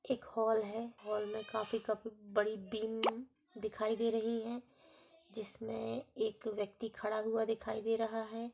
एक हॉल है। हॉल में काफी काफ बीम दिखाई दे रही हैं जिसमें एक व्यक्ति खड़ा हुआ दिखाई दे रहा है।